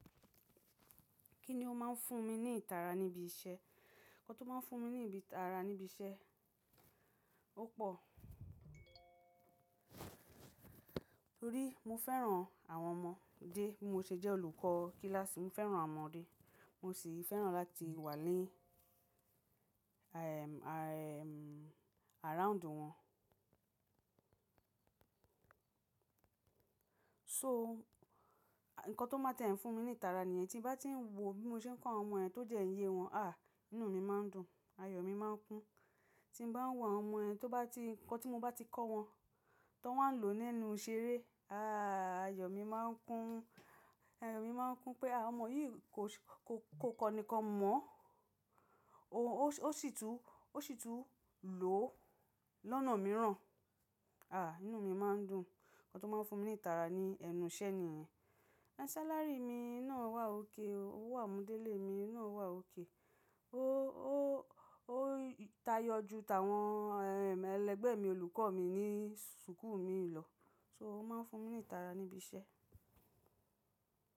Kí ni ó máa ń fún mi ní ìtara níbi iṣẹ́? Ǹkan tó máa ń fún mi ní ìtara níbi iṣẹ́ ó pọ̀. Torí, mo fẹ́ràn àwọn ọmọ dé bí mo ṣe jẹ́ olùkọ́ kíláàsì. Mo fẹ́ràn awon ọmọdé, mo sì fẹ́ràn láti wà ní, ehm, ehm, around wọn. So, ǹkan tó máa ń tiẹ́ fún mi ní ìtara nìyẹn. Tí n bá ti ń wò bí mo ṣe ń kọ́ àwọn ọmọ yen tó dẹ́ n ye wọn, ah, inú mi máa ń dùn, ayọ̀ mi máa ń kún. Tí bá ń wò àwọn ọmọ ẹni tó bá ti, ǹkan tí mo bá ti kọ wọn, ton wan á lò ó nínú ìṣeré, ah, ayọ̀ mi máa ń kún, ayọ̀ mi máa ń kún pé à ọmọ yìí kò, kò, kò kọ ni kan mọ́ oh o, ó sì tún, ó sì tún lò ó lọ́nà mìíràn. Ah, inú mi máa ń dùn. Ǹkan tó máa ń fún mi ní ìtara ní ẹnu iṣẹ́ nìyẹn. Sálárì mi náà wà ók o, owó àmúdélẹ̀ mi náà wà ók o. Ó, ó, ó tayọ ju tàwọn, ehm, ẹlẹgbẹ́ mi, olùkọ́ mi ní súkù mi lọ. So ó máa ń fún mi ní ìtara níbi iṣẹ́.